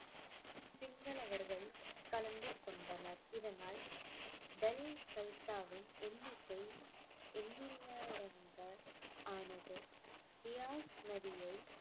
கலந்து கொண்டனர். இதனால் கல்சாவின் எண்ணிக்கை எண்ணிலடங்கானதும் பியாஸ் நதியை